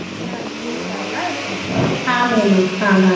ಅಜ್ಜಾ ಅಜ್ಜಿ ಇರ್ತಾರಲ್ಲಾ ರೀ .